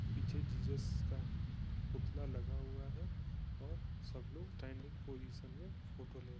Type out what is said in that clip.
पीछे जीसस का पुतला लगा हुआ है और सबलोग ट्रेंडिंग पोजीशन में फोटो ले--